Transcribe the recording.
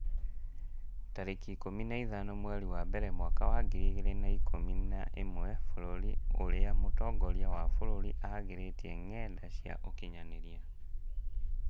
tarĩki ikũmi na ithano mweri wa mbere mwaka wa ngiri igĩrĩ na ikũmi na ĩmwe Bũrũri ũrĩa mũtongoria wa bũrũri aagirĩtie ngenda cia ũkinyanĩria